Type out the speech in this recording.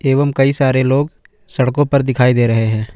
एवं कई सारे लोग सड़कों पर दिखाई दे रहे हैं।